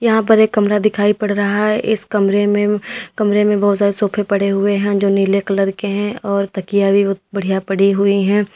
यहां पर एक कमरा दिखाई पड़ रहा है इस कमरे में कमरे में बहोत सारे सोफे पड़े हुए हैं जो नीले कलर के हैं और तकिया भी बढ़िया पड़ी हुई है।